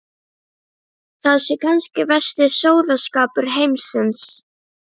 Það sé kannski versti sóðaskapur heimsins.